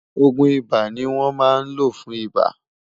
ògún ibà ní wón má ló fún ibà